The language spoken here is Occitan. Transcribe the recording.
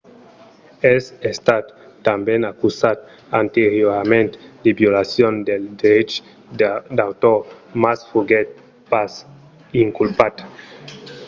es estat tanben acusat anteriorament de violacion dels dreches d'autor mas foguèt pas inculpat